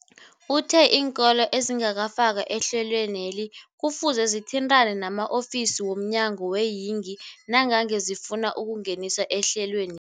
Uthe iinkolo ezingakafakwa ehlelweneli kufuze zithintane nama-ofisi wo mnyango weeyingi nangange zifuna ukungeniswa ehlelweni.